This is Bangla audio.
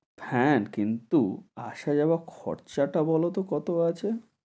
হ্যাঁ, কিন্তু আসা যাওয়া খরচাটা বলত কত আছে?